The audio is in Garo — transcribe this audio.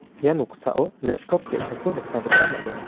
ia noksao leptop ge·sako nikna gita man·enga.